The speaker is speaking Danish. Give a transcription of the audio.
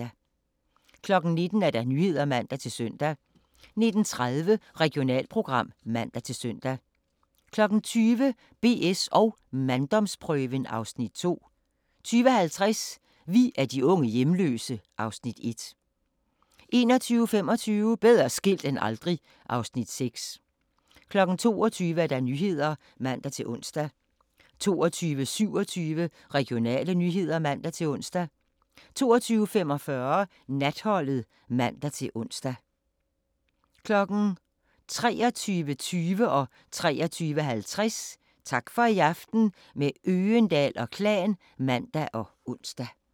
19:00: Nyhederne (man-søn) 19:30: Regionalprogram (man-søn) 20:00: BS & manddomsprøven (Afs. 2) 20:50: Vi er de unge hjemløse (Afs. 1) 21:25: Bedre skilt end aldrig (Afs. 6) 22:00: Nyhederne (man-ons) 22:27: Regionale nyheder (man-ons) 22:45: Natholdet (man-ons) 23:20: Tak for i aften – med Øgendahl & Klan (man og ons) 23:50: Tak for i aften – med Øgendahl & Klan (man og ons)